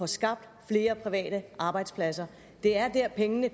skabt flere private arbejdspladser det er der pengene